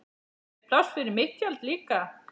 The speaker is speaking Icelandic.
Er pláss fyrir mitt tjald líka?